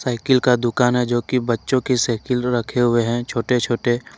इकिल का दुकान है जो कि बच्चों की साइकिल रखे हुए हैं छोटे छोटे।